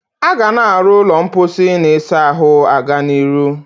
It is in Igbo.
Aga na aro ulo mposi na isa ahu aga n'iru.